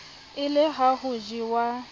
e le ha ho jewa